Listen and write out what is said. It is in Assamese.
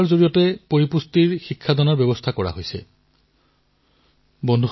খেলৰ মাজেৰে পুষ্টিৰ শিক্ষা আনন্দপ্ৰমোদৰ সৈতে তাত উপভোগ কৰিব পাৰিব